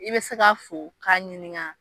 I be se ka fo k'a ɲininka.